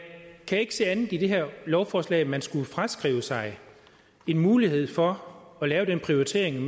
kan ikke se andet i det her lovforslag end at man skulle fraskrive sig en mulighed for at lave den prioritering